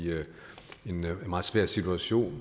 en meget svær situation